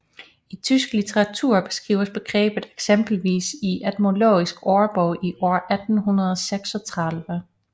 I tysk litteratur beskrives begrebet eksempelvis i etymologisk ordbog i år 1836